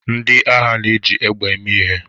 Ndị agha na-eji egbe eme ihe